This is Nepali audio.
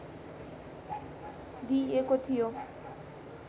दिइएको थियो